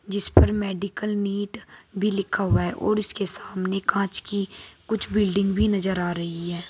जिस पर medical NEET भी लिखा हुआ है और उसके सामने कांच की कुछ बिल्डिंग भी नजर आ रही है।